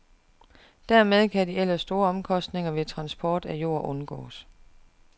Dermed kan de ellers store omkostninger ved transport af jord undgås.